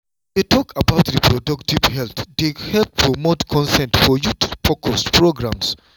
to dey talk about reproductive health dey help promote consent for youth-focused programs.